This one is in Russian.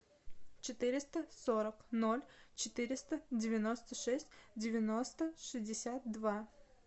четыреста сорок ноль четыреста девяносто шесть девяносто шестьдесят два